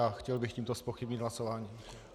A chtěl bych tímto zpochybnit hlasování.